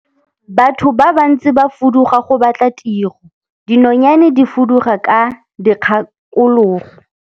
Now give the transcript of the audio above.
Batho ba bantsi ba fuduga go batla tiro, dinonyane di fuduga ka dikgakologo.